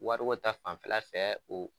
Wariko ta fanfɛla fɛ ,u